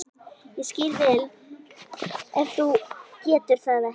Ég skil vel ef þú getur það ekki.